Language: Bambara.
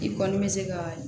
I kɔni bɛ se ka